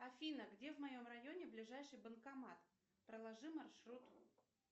афина где в моем районе ближайший банкомат проложи маршрут